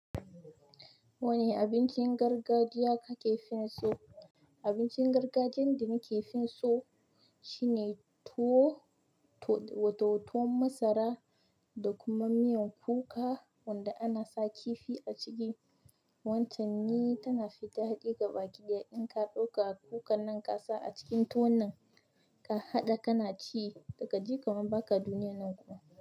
Wani abincin gargajiya ka ke fin so? Abincin gargajiyan da ni ke fin so shine tuwo, to wato tuwon masara da kuma miyan kuka wanda ana sa kifi a ciki. Wancan ni tana fita dai gaba ki ɗaya in ka ɗauka kukan nan kasa a cikin tuwon nan ka haɗa ka na ci da kaji kaman ba ka duniyan nan kuma.